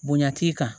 Bonya t'i kan